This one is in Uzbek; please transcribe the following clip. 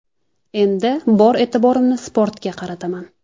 Endi bor e’tiborimni sportga qarataman.